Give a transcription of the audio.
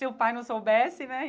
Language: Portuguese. Se o pai não soubesse, né?